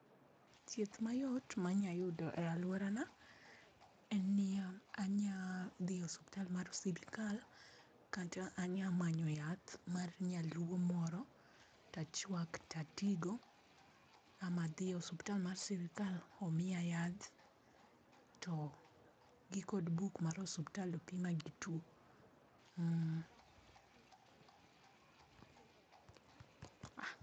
Thieth mayot manya yudo e aluorana en niya, anya ah dhi e suptal mar sirkal kata anyamanyo yath mar nyaluo moro tachwak tatigo, ama adhi osuptal mar sirkal omia yath to gikod buk mar osuptal opima gi two. mmm.